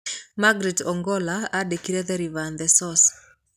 Margaret Ogola aandĩkire "The River and the Source".